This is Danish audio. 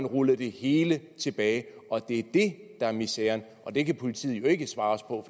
rullet det hele tilbage og det er det der er miseren og det kan politiet jo ikke svare os på